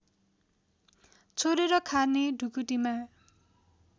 छोडेर खाने ढुकुटीमा